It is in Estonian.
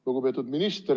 Lugupeetud minister!